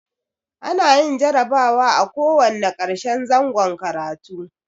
A na yin jarabawa a ko wanna karshen zangon karatu